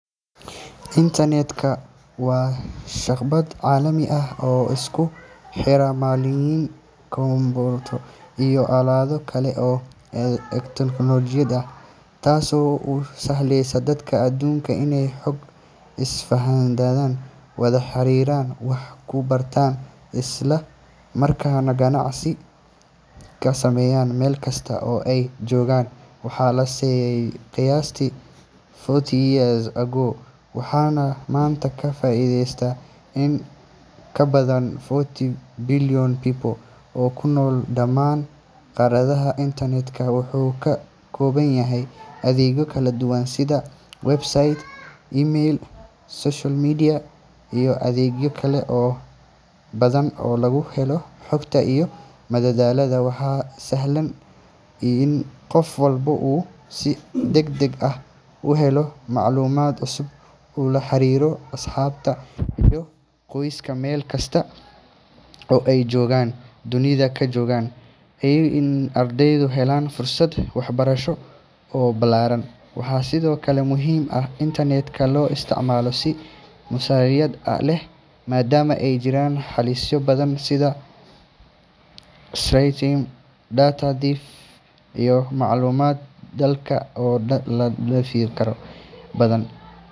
Internet-ka waa shabakad caalami ah oo isku xira malaayiin kombuyuutarro iyo aalado kale oo elektaroonig ah, taasoo u sahlaysa dadka adduunka inay xog isdhaafsadaan, wada xiriiraan, wax ku bartaan, isla markaana ganacsi ka sameeyaan meel kasta oo ay joogaan. Waxaa la aasaasay qiyaastii forty years ago waxaana maanta ka faa’iideysta in ka badan four billion people oo ku nool dhammaan qaaradaha. Internet-ka wuxuu ka kooban yahay adeegyo kala duwan sida websites, email, social media, iyo adeegyo kale oo badan oo lagu helo xogta iyo madadaalada. Waxay sahlaysaa in qof walba uu si degdeg ah u helo macluumaad cusub, uu la xiriiro asxaabta iyo qoyska meel kasta oo ay dunida ka joogaan, iyo in ardaydu helaan fursado waxbarasho oo ballaaran. Waxaa sidoo kale muhiim ah in internet-ka loo isticmaalo si mas’uuliyad leh maadaama ay jiraan halisyo badan sida cybercrime, data theft, iyo macluumaad khaldan oo la faafin karo. Inta badan.